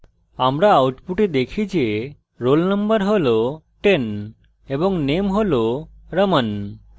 আমরা output দেখি যে roll _ number roll 10 এবং name roll raman